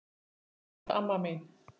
Elsku flotta amma mín.